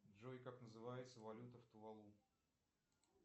джой как называется валюта в туалу